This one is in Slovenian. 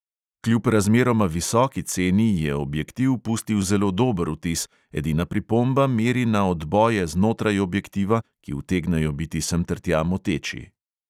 Kljub razmeroma visoki ceni je objektiv pustil zelo dober vtis, edina pripomba meri na odboje znotraj objektiva, ki utegnejo biti sem ter tja moteči.